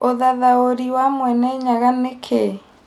ũthathaũrĩ wa Mwene Nyaga nĩ kĩĩ